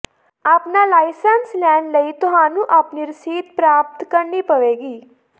ਆਪਣਾ ਲਾਇਸੈਂਸ ਲੈਣ ਲਈ ਤੁਹਾਨੂੰ ਆਪਣੇ ਰਸੀਦ ਪ੍ਰਾਪਤ ਕਰਨੀ ਪਵੇਗੀ